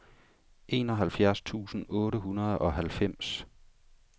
enoghalvfjerds tusind otte hundrede og halvfems